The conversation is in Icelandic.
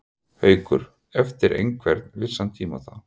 Haukur: Eftir einhvern vissan tíma þá?